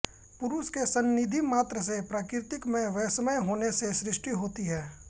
पुरुष के संनिधि मात्र से प्रकृति में वैषम्य होने से सृष्टि होती है